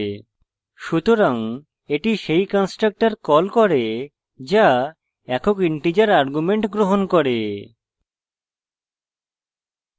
সুতরাং এটি সেই constructor calls করে calls একক integer argument গ্রহণ করে